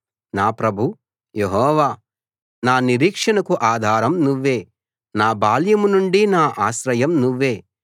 నా ప్రభూ యెహోవా నా నిరీక్షణకు ఆధారం నువ్వే నా బాల్యం నుండి నా ఆశ్రయం నువ్వే